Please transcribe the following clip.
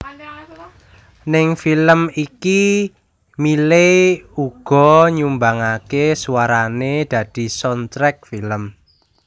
Ning film iki Miley uga nyumbangaké suarané dadi soundtrack film